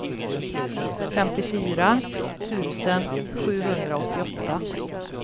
femtiofyra tusen sjuhundraåttioåtta